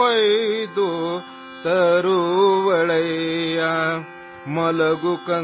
सपने काट लायेगी